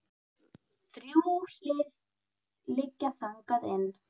Þrjú hlið liggja þangað inn.